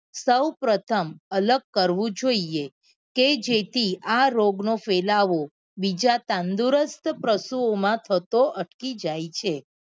સૌ પ્રથમ અલગ કરવું જોઈએ કે જેથી આ રોગ નો ફેલાવો બીજા તંદુરસ્ત પશુ ઓ માં થતો અટકી જાય છે